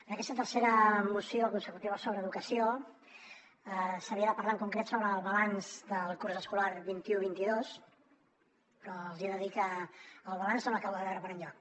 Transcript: en aquesta tercera moció consecutiva sobre educació s’havia de parlar en concret sobre el balanç del curs escolar vint un vint dos però els hi he de dir que el balanç no l’acabo de veure per enlloc